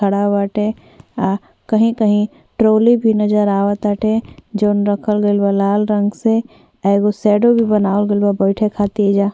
खड़ा बाटे आ कही कही ट्रॉली भी नजर आव ताटे जौन रखल गइल बा लाल रंग से आ एगो शैडो भी बनावल गइल बा बैठे खातिर एईजा।